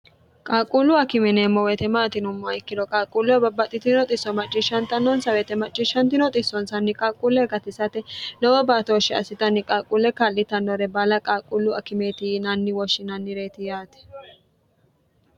qaaqquullu akime yineemmo weete maati yinummoro ikkino qaqquulle babbaxxitino xisso macciishshantannonsa weete macciishsnino issonsanni qaqquulle gatisate nowo baatooshshi assitanni qaquule ka'litannore bala qaaquullu akimeeti yiinanni woshshinannireyiti yaate